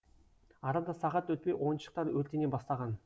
арада сағат өтпей ойыншықтар өртене бастаған